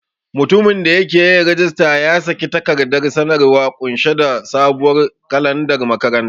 Mutumin da yake yin rajista ya saki takardar sanarwa ƙunshe da sabuwar kalandar makaranta.